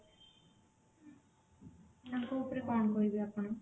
ତାଙ୍କ ଉପରେ କଣ କହିବେ ଆପଣ